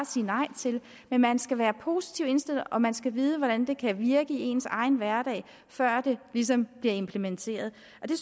sige nej til det men man skal være positivt indstillet og man skal vide hvordan det kan være virke i ens egen hverdag før det ligesom bliver implementeret